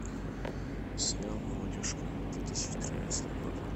сериал молодежка две тысячи тринадцатый год